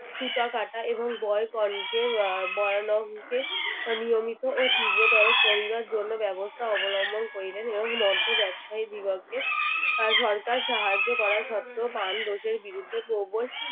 সুতা কাটা এবং বয়কনকে আহ বয়ানংকে নিয়মিত ও তীব্রতর করিবার জন্য ব্যবস্থা অবলম্বন করিলেন এবং মদ্য ব্যবসায়ীদিগকে আহ সরকার সাহায্য করা সত্ত্বেও পান দোষের বিরুদ্ধে প্রবল